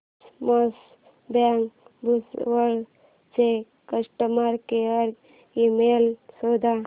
cosmos bank Bhusawal चा customer care email शोध